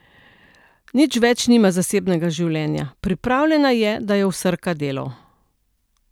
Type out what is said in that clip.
Nič več nima zasebnega življenja, pripravljena je, da jo vsrka delo.